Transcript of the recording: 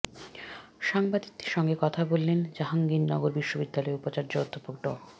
সাংবাদিকদের সঙ্গে কথা বলেন জাহাঙ্গীরনগর বিশ্ববিদ্যালয়ের উপাচার্য অধ্যাপক ড